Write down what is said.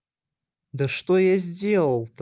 да что я сделал то